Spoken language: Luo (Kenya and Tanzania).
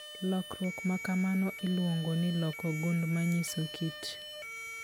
Lokruok ma kamano iluongo ni Loko gund manyiso kit